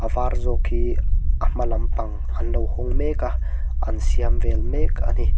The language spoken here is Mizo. a var zawk hi a hma lampang an lo hawng mek a an siam vel mek a ni.